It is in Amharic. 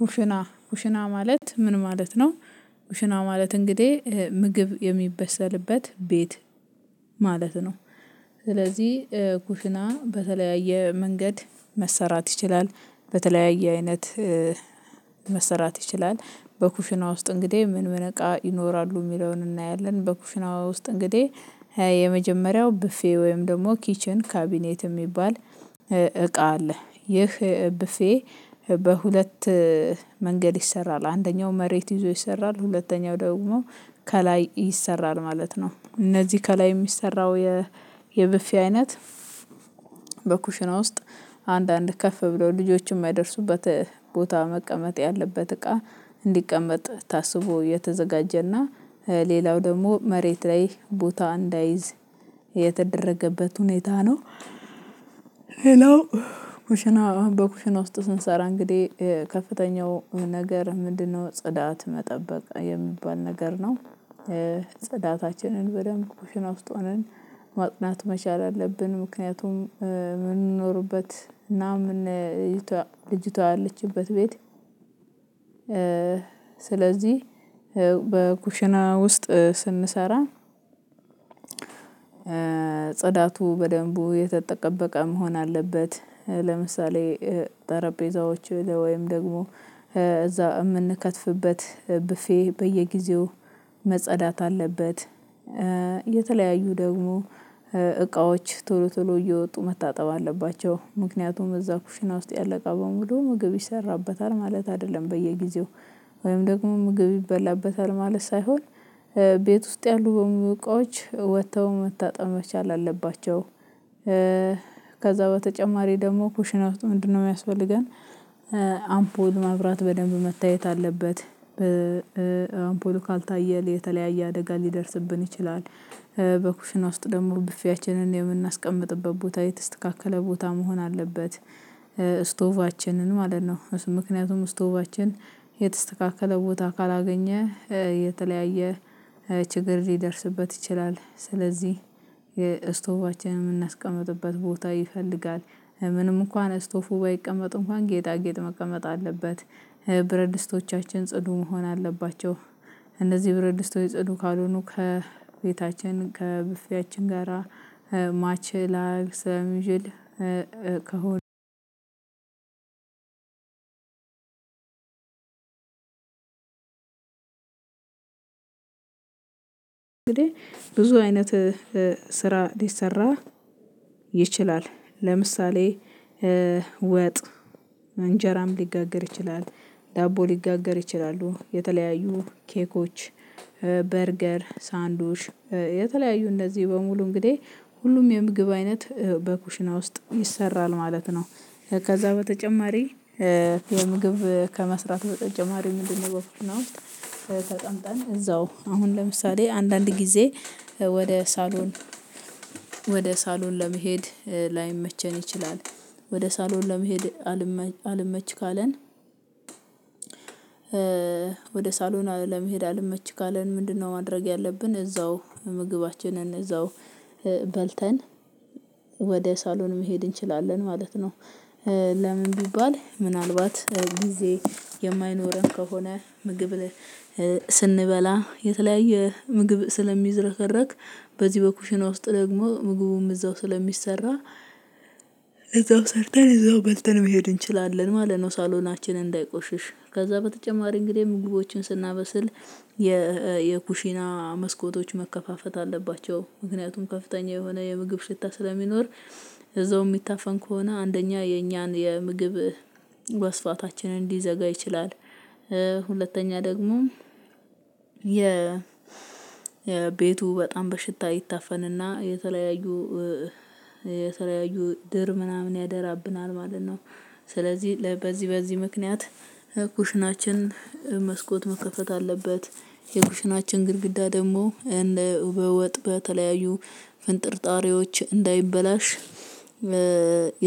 ኩሽና ኩሽና ማለት ምን ማለት ነው? ኩሽና ማለት እንግዲህ ምግብ የሚበሰልበት ቤት ማለት ነው። ስለዚህ ኩሽና በተለያየ መንገድ መሰራት ይችላል በተለያየ አይነት መሰራት ይችላል። በኩሽና ውስጥ እንግዲህ ምን ምን እቃ ይኖራሉ የሚለውን እናያለን። በኩሽናው ውስጥ እንግዲህ የመጀመሪያው ቡፌ ወይም ደግሞ ኪችን ካቢኔት የሚባል እቃ አለ። ይህ ቡፌ በሁለት መንገድ ይሰራል አንደኛው መሬት ይዞ ይሰራል ሁለተኛው ደግሞ ከላይ ይሰራል ማለት ነው። እነዚህ ከላይ የሚሰራው የቡፌ አይነት በኩሽና ውስጥ አንዳንድ ከፍ ብለው ልጆችን የማይደርሱበት ቦታ መቀመጥ ያለበት እቃ እንዲቀመጥ ታስቦ የተዘጋጀና ሌላው ደግሞ መሬት ላይ ቦታ እንዳይዝ የተደረገበት ሁኔታ ነው። ሌላው ኩሽና በኩሽና ውስጥ ስንሰራ እንግዲህ ከፍተኛው ነገር ምንድነው ጽዳት መጠበቅ የሚባል ነገር ነው። ጽዳታችንን በደንብ ኩሽና ውስጥ ሆነን ማጥዳት መቻል አለብን። ምክንያቱም የምንኖርበት እና ምን ልጅቷ ያለችበት ቤት። ስለዚህ በኩሽና ውስጥ ስንሰራ ጽዳቱ በደንቡ የተጠበቀ መሆን አለበት። ለምሳሌ ጠረጴዛዎች ወይም ደግሞ እዛ የምንከትፍበት ብፌ በየጊዜው መጸዳት አለበት። የተለያዩ ደግሞ እቃዎች ቶሎ ቶሎ እየወጡ መታጠብ አለባቸው። ምክንያቱም እዛ ኩሽና ውስጥ ያለ እቃ በሙሉ ምግብ ይሰራበታል ማለት አይደለም በየጊዜው ወይም ደግሞ ምግብ ይበላበታል ማለት ሳይሆን ቤት ውስጥ ያሉ በሙሉ እቃዎች ወጥተው መታጠብ መቻል አለባቸው። ከዛ በተጨማሪ ደግሞ ኩሽና ቤቱ ምንድነው የሚያስፈልገን? አምፖል ማብራት በደንብ መታየት አለበት። በአምፖሉ ካልታየ የተለያየ አደጋ ሊደርስብን ይችላል። በኩሽና ውስጥ ደግሞ ብፊያችንን የምናስቀምጥበት ቦታ የተስተካከለ ቦታ መሆን አለበት። ስቶቫችንን ማለት ነው ምክንያቱም ስቶቫችን የተስተካከለ ቦታ ካላገኘ የተለያየ ችግር ሊደርስበት ይችላል። ስለዚህ የስቶባችንን የምናስቀምጥበት ቦታ ይፈልጋል። ምንም እንኳን ስቶፉ ባይቀመጥ እንኳን ጌጣጌጥ መቀመጥ አለበት። ብረት ድስቶቻችን ጽዱ መሆን አለባቸው። እነዚህ ብር ድስቶች ጽዱ ካልሆኑ ከቤታችን ከብፊያችን ጋራ ማች ላያደርግ ሰለሚችል ከሆነ። እንግዲህ ብዙ አይነት ስራ ሊሰራ ይችላል። ለምሳሌ ወጥ እንጀራም ሊጋገር ይችላል ዳቦ ሊጋገር ይችላሉ የተለያዩ ኬኮች በርገር ሳንዱዊች የተለያዩ እንደዚህ በሙሉ እንግዲህ ሁሉም የምግብ አይነት በኩሽና ውስጥ ይሰራል ማለት ነው። ከዛ በተጨማሪ የምግብ ከመስራት በተጨማሪ ምንድነው መፍትሄው? ተጠምጠም እዛው አሁን ለምሳሌ አንዳንድ ጊዜ ወደ ሳሎን ወደ ሳሎን ለመሄድ ላይመቸን ይችላል። ወደ ሳሎን ለመሄድ አልመች ካለን? ወደ ሳሎን ለመሄድ አልመች ካለን ምንድነው ማድረግ ያለብን እዛው ምግባችንን እዛው በልተን ወደ ሳሎን መሄድ እንችላለን ማለት ነው። ለምን ቢባል ምናልባት ጊዜ የማይኖረን ከሆነ ምግብ ስንበላ የተለያየ ምግብ ስለሚዝረከረክ። በዚህ በኩሽና ውስጥ ደግሞ ምግቡም እዛው ስለሚሰራ። እዛው ሰርተን እዛው በልተን መሄድ እንችላለን ማለት ነው። ሳሎናችንን እንዳይቆሽሽ ከዛ በተጨማሪ እንግዲህ ምግቦችን ስናበስል የኩሺና መስኮቶች መከፋፈት አለባቸው። ምክንያቱም ከፍተኛ የሆነ የምግብ ሽታ ስለሚኖር እዛው የሚታፈን ከሆነ አንደኛ የኛን የምግብ ወስፋታችንን ሊዘጋ ይችላል። ሁለተኛ ደግሞ ቤቱ በጣም በሽታ ይታፈንና የተለያዩ የተለያዩ ድር ምናምን ያደራብናል ማለት ነው። ስለዚህ በዚህ በዚህ ምክንያት የኩሽናችን መስኮት መከፈት አለበት። የኩሽናችን ግድግዳ ደግሞ በወጥ በተለያዩ ፍንጥርጣሬዎች እንዳይበላሽ።